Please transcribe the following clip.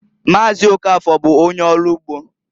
Maazị Okafor bụ onye ọlụ ugbo.